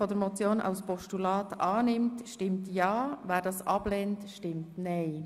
Wer Ziffer 2 als Postulat annimmt, stimmt ja, wer sie ablehnt, stimmt nein.